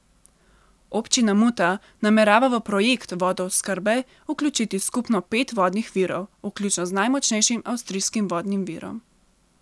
Občina Muta namerava v projekt vodooskrbe vključiti skupno pet vodnih virov, vključno z najmočnejšim avstrijskim vodnim virom.